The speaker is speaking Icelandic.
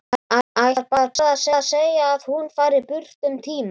Ætlar bara að segja að hún fari burt um tíma.